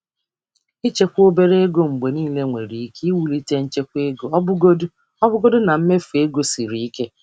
Ịchekwa obere ego mgbe niile nwere ike iwulite nchekwa ego ọbụgodi na mmefu ego siri ike.